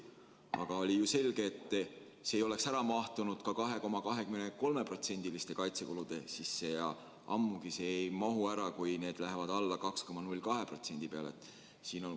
Aga oli ju selge, et see ei oleks ära mahtunud ka 2,23%-liste kaitsekulude sisse ja ammugi ei mahu see ära siis, kui need kulud vähenevad 2,02% peale.